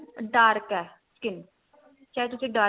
dark ਏ skin ਚਾਹੇ ਤੁਸੀਂ dark